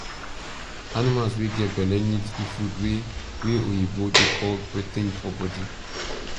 animals wey get belle need di food wey wey oyibo dey call protein for body